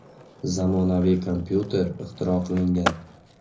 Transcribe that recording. Zamonaviy kompyuter ixtiro qilingan.